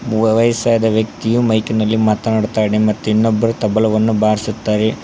ಮೊವ ವೈಸಾದ ವ್ಯಕ್ತಿಯು ಮೈಕ್ ನಲ್ಲಿ ಮಾತಾಡತಾನೆ ಮತ್ತು ಇನ್ನೊಬರು ತಬಲವನ್ನು ಬಾರ್ಸುತಾರೆ.